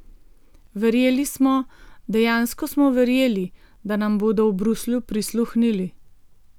Verjeli smo, dejansko smo verjeli, da nam bodo v Bruslju prisluhnili.